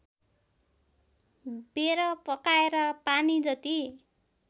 बेर पकाएर पानीजति